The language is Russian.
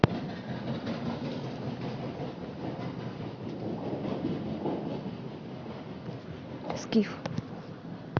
скиф